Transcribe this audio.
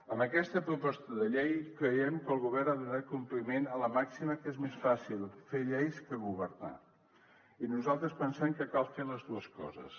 amb aquesta proposta de llei creiem que el govern ha donat compliment a la màxima que és més fàcil fer lleis que governar i nosaltres pensem que cal fer les dues coses